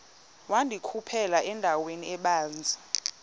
wandikhuphela endaweni ebanzi